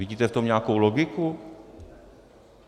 Vidíte v tom nějakou logiku?